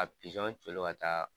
Ka colo ka taa